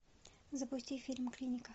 запусти фильм клиника